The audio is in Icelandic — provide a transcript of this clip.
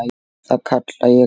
Það kalla ég gott.